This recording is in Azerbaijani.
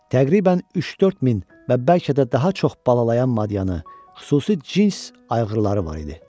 Təqribən üç-dörd min və bəlkə də daha çox balalayan madianı, xüsusi cins ayğırları var idi.